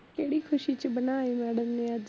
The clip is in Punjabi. ਕੇੜੀ ਖੁਸ਼ੀ ਚ ਬਣਾਏ madam ਨੇ ਅੱਜ